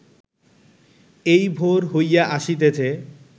এই ভোর হইয়া আসিতেছে